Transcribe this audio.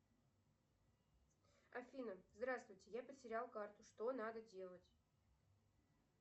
афина здравствуйте я потерял карту что надо делать